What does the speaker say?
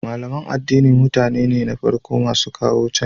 Malaman addini mutane ne na farko masu kawo canji